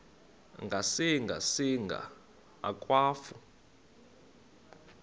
ngasinga singa akwafu